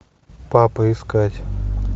папа искать